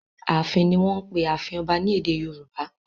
"Ààfin" ni wọ́n ń pe ààfin ọba ní èdè Yorùbá.